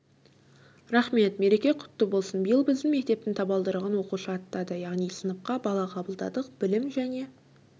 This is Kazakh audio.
рахмет мереке құтты болсын биыл біздің мектептің табалдырығын оқушы аттады яғни сыныпқа бала қабылдадық білім және